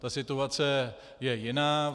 Ta situace je jiná.